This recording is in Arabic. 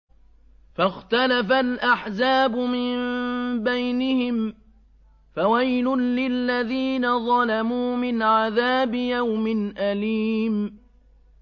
فَاخْتَلَفَ الْأَحْزَابُ مِن بَيْنِهِمْ ۖ فَوَيْلٌ لِّلَّذِينَ ظَلَمُوا مِنْ عَذَابِ يَوْمٍ أَلِيمٍ